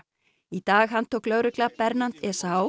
í dag handtók lögregla Bernhard